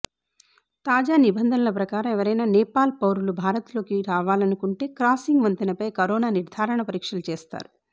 తాజా నిబంధనల ప్రకారం ఎవరైనా నేపాల్ పౌరులు భారత్లోకి రావాలనుకుంటే క్రాసింగ్ వంతెనపై కరోనా నిర్ధారణ పరీక్షలు చేస్తారు